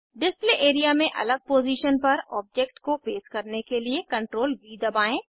display area में अलग position पर ऑब्जेक्ट को पेस्ट करने के लिए CTRLV दबाएं